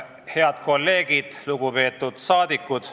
Head kolleegid!